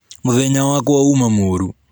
Mũthenya wakwa uma mũru.